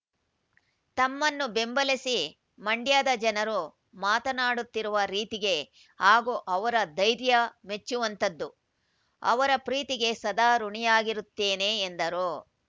ತಮ್ಮನ್ನು ಬೆಂಬಲಿಸಿ ಮಂಡ್ಯದ ಜನರು ಮಾತನಾಡುತ್ತಿರುವ ರೀತಿಗೆ ಹಾಗೂ ಅವರ ಧೈರ್ಯ ಮೆಚ್ಚುವಂತದ್ದು ಅವರ ಪ್ರೀತಿಗೆ ಸದಾ ಋಣಿಯಾಗಿರುತ್ತೇನೆ ಎಂದರು